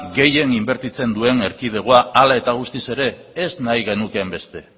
gehien inbertitzen duen erkidegoa hala eta guztiz ere ez nahi genukeen beste